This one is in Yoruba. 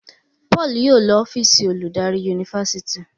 Paul yóò ló ọ́fíìsì oludari Yunifásitìni.